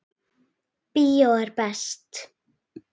Bíó er best.